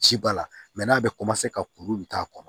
Ci b'a la n'a bɛ ka kuru bɛ k'a kɔnɔ